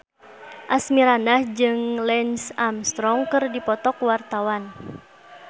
Asmirandah jeung Lance Armstrong keur dipoto ku wartawan